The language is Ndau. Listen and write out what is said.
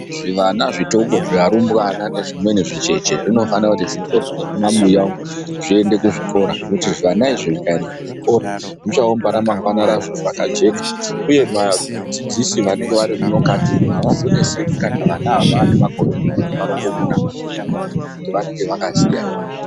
Zvivana zvitoko, zviarumbwana nezvimweni zvicheche zvinofane kuti zvitorwe mumabuya zviende kuzvikora ngekuti zvivana izvi zvikaenda kuzvikora zvichaumbawo ramangwana razvo rakajeka uye vadzidzisi vanenge varimukati umo havazonetseke kana vana ava vaane makore marongomuna ngekuti vanenge vakuziya zvekuita.